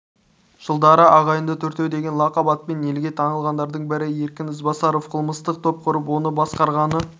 жылдары ағайынды төртеу деген лақап атпен елге танылғандардың бірі еркін ізбасаров қылмыстық топ құрып оны басқарғаны